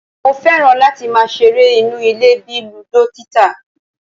Mo fẹ́ràn láti máa ṣeré inú ilé bíi ludo tita